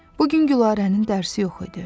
Bu gün Gülarənin dərsi yox idi.